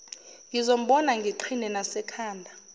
ngizombona ngiqhine nasekhanda